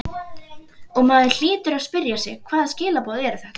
Og maður hlýtur að spyrja sig hvaða skilaboð eru þetta?